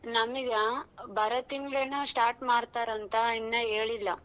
ನಮಗ ಬಾರೋ ತಿಂಗ್ಳ್ ಏನೋ start ಮಾಡ್ತಾರಂತ ಇನ್ನ ಹೇಳಿಲ್ಲ.